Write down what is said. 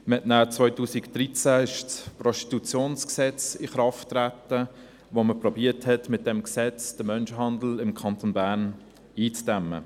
Danach trat 2013 das Gesetz über das Prostitutionsgewerbe (PGG) in Kraft, mit welchem man versuchte, den Menschenhandel im Kanton Bern einzudämmen.